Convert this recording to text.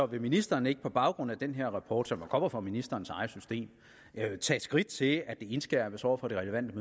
vil ministeren ikke på baggrund af den her rapport som jo kommer fra ministerens eget system tage skridt til at det indskærpes over for de relevante